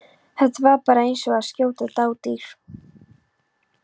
Þetta var bara eins og að skjóta dádýr.